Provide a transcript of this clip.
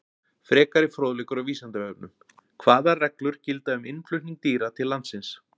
Frekari fróðleikur á Vísindavefnum: Hvaða reglur gilda um innflutning dýra til landsins?